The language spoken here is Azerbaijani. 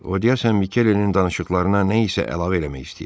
O deyəsən Mikelinin danışıqlarına nə isə əlavə eləmək istəyir.